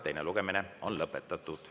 Teine lugemine on lõpetatud.